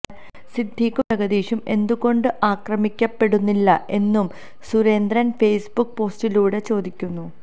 സിദ്ദിഖും ജഗദീഷും എന്തുകൊണ്ട് ആക്രമിക്കപ്പെടുന്നില്ല എന്നും സുരേന്ദ്രന് ഫേസ്ബുക്ക് പോസ്റ്റിലൂടെ ചോദിക്കുന്നു